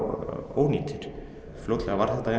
ónýtir fljótlega varð þetta